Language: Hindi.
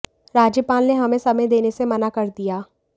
राज्यपाल ने हमें समय देने से मना कर दिया